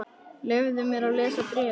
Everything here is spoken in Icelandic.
Leyfðu mér að lesa bréfið